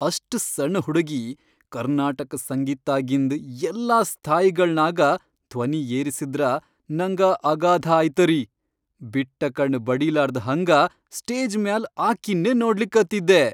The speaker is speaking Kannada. ಅಷ್ಟ್ ಸಣ್ ಹುಡಗಿ ಕರ್ನಾಟಕ್ ಸಂಗೀತ್ದಾಗಿಂದ್ ಎಲ್ಲಾ ಸ್ಥಾಯಿಗಳ್ನಾಗ ಧ್ವನಿ ಏರಸಿದ್ರ ನಂಗ ಅಗಾಧ ಆಯ್ತರಿ, ಬಿಟ್ಟಕಣ್ ಬಡಿಲಾರ್ದ್ ಹಂಗ ಸ್ಟೇಜ್ ಮ್ಯಾಲ್ ಅಕೀನ್ನೇ ನೋಡ್ಲಿಕತ್ತಿದ್ದೆ.